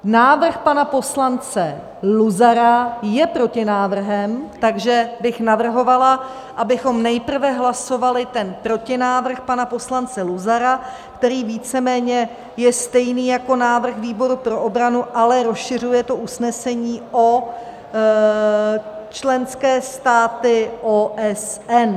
Návrh pana poslance Luzara je protinávrhem, takže bych navrhovala, abychom nejprve hlasovali ten protinávrh pana poslance Luzara, který víceméně je stejný jako návrh výboru pro obranu, ale rozšiřuje to usnesení o členské státy OSN.